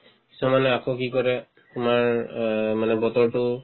কিছুমানে আকৌ কি কৰে তোমাৰ অ মানে বতৰতো